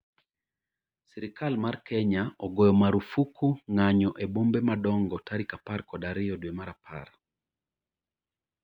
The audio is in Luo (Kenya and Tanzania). Sirikal mar Kenya ogoyo marufuku ng'anyo e bombe madongo tarik apar kod ariyo dwe mar apar